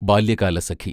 Balyakalasakhi